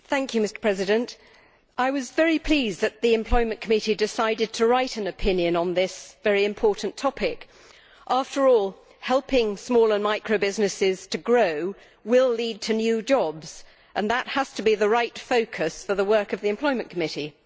Mr President, I was very pleased that the Employment Committee decided to write an opinion on this very important topic. After all, helping small and micro businesses to grow will lead to new jobs, and that has to be the right focus for the work of the Employment Committee.